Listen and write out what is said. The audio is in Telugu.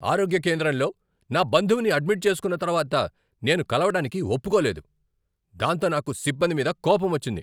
ఆరోగ్య కేంద్రంలో నా బంధువుని అడ్మిట్ చేసుకున్నతర్వాత నేను కలవడానికి ఒప్పుకోలేదు, దాంతో నాకు సిబ్బంది మీద కోపమొచ్చింది.